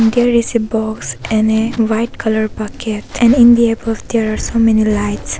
There is a box and a white colour bucket and in the above there are so many lights.